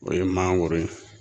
O ye mangoro ye.